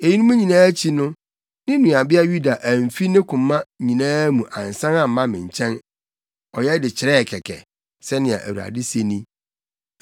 Eyinom nyinaa akyi no, ne nuabea Yuda amfi ne koma nyinaa mu ansan amma me nkyɛn, ɔyɛ de kyerɛɛ kɛkɛ,” sɛnea Awurade se ni.